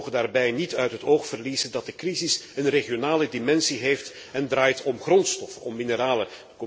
We mogen daarbij niet uit het oog verliezen dat de crisis een regionale dimensie heeft en draait om grondstof, om mineralen.